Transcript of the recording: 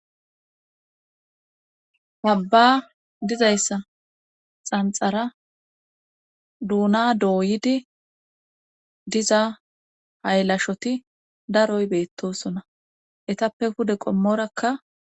habba dizayssa xanxara duuna dooyidi diza haylashoti daroy beettosona etappe hude qommorakka